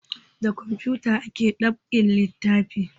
Da kamfuta ake dab'in littafai